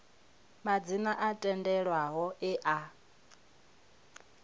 madzina o tendelwaho e a